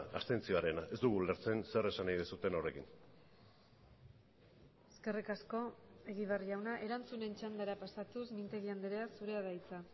abstentzioarena ez dugu ulertzen zer esan nahi duzuen horrekin eskerrik asko egibar jauna erantzunen txandara pasatuz mintegi andrea zurea da hitza